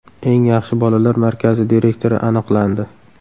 Eng yaxshi bolalar markazi direktori aniqlandi.